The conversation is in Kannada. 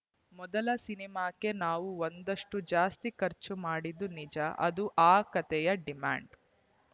ಮೊದಲ ಸಿನಿಮಾಕ್ಕೆ ನಾವು ಒಂದಷ್ಟುಜಾಸ್ತಿಯೇ ಖರ್ಚು ಮಾಡಿದ್ದು ನಿಜಅದು ಆ ಕತೆಯ ಡಿಮ್ಯಾಂಡ್‌